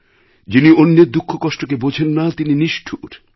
যিনি অন্যের দুঃখকষ্টকে বোঝেন না তিনি নিষ্ঠুর